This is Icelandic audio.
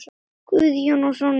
Guðjón og Sonja.